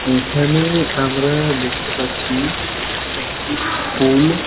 এখানে আমরা দেখতে পাচ্ছি একটি পুল |